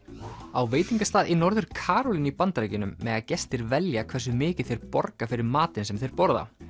á veitingastað í Norður Karólínu í Bandaríkjunum mega gestir velja hversu mikið þeir borga fyrir matinn sem þeir borða